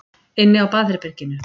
Inni á baðherberginu.